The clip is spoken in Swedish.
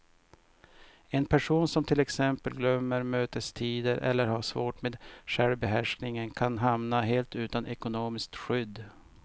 En person som till exempel glömmer mötestider eller har svårt med självbehärskningen kan hamna helt utan ekonomiskt skydd.